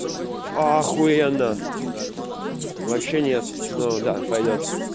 ахуенно вообще нет ну да пойдёт